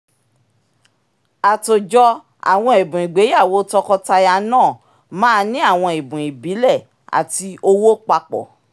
àtòjọ àwọn ẹ̀bùn ìgbéyàwó tọkọtaya náà máa ní àwọn ẹ̀bùn ibílẹ̀ àti owó papọ̀